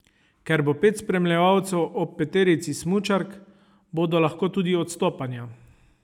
Ker bo pet spremljevalcev ob peterici smučark, bodo lahko tudi odstopanja.